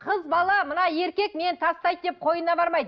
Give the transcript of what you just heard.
қыз бала мына еркек мені тастайды деп қойнына бармайды